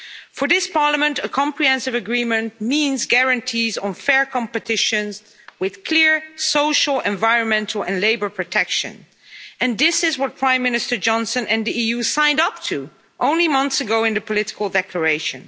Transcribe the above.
For this Parliament, a comprehensive agreement means guarantees on fair competition with clear social, environmental and labour protection, and this is what Prime Minister Johnson and the EU signed up to only months ago in the political declaration.